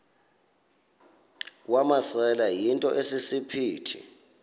wamasele yinto esisiphithi